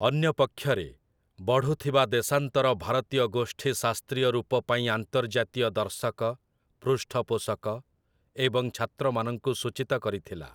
ଅନ୍ୟ ପକ୍ଷରେ, ବଢ଼ୁଥିବା ଦେଶାନ୍ତର ଭାରତୀୟ ଗୋଷ୍ଠୀ ଶାସ୍ତ୍ରୀୟ ରୂପ ପାଇଁ ଆନ୍ତର୍ଜାତୀୟ ଦର୍ଶକ, ପୃଷ୍ଠପୋଷକ, ଏବଂ ଛାତ୍ରମାନଙ୍କୁ ସୂଚିତ କରିଥିଲା ।